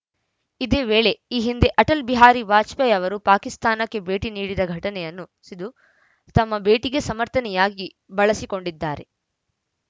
ಇದೇ ವೇಳೆ ಈ ಹಿಂದೆ ಅಟಲ್‌ ಬಿಹಾರಿ ವಾಜಪೇಯಿ ಅವರು ಪಾಕಿಸ್ತಾನಕ್ಕೆ ಭೇಟಿ ನೀಡಿದ ಘಟನೆಯನ್ನು ಸಿದು ತಮ್ಮ ಭೇಟಿಗೆ ಸಮರ್ಥನೆಯಾಗಿ ಬಳಸಿಕೊಂಡಿದ್ದಾರೆ